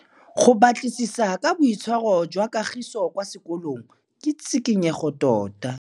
Go batlisisa ka boitshwaro jwa Kagiso kwa sekolong ke tshikinyêgô tota.